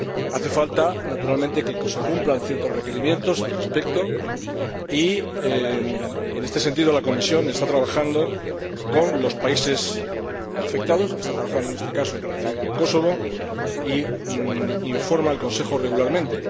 Hace falta, naturalmente, que se cumplan ciertos requerimientos al respecto y, en este sentido, la Comisión está trabajando con los países afectados, está trabajando en este caso en relación con Kosovo e informa al Consejo regularmente.